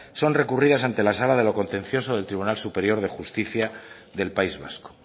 son recurridas ante la sala de lo contencioso del tribunal superior de justicia del país vasco